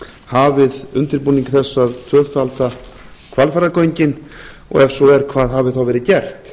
hafið undirbúning þess að tvöfalda hvalfjarðargöng og ef svo er hvað hafi þá verið gert